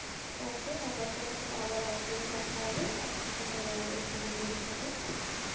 okay আবার তোমার সাথে আবার আরেকদিন কথা হবে আজকে তাহলে এই পর্যন্তই থাকুক